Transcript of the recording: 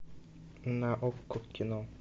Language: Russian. на окко кино